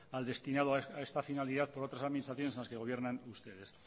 al destinado a esta finalidad por otras administraciones en las que gobiernan ustedes